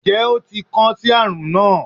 njẹ o ti kan si arun na